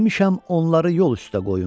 Demişəm onları yol üstə qoyun.